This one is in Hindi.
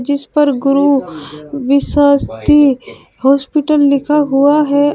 इस पर गुरु विश्वस्थी हॉस्पिटल लिखा हुआ है।